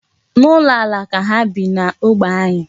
N'ụlọ ala ka ha bi n'ógbè anyị.